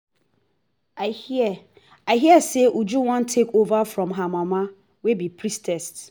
i hear i hear say uju wan take over from her mother wey be priestess